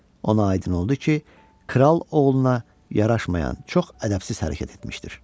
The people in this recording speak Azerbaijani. Ona aydın oldu ki, kral oğluna yaraşmayan çox ədəbsiz hərəkət etmişdir.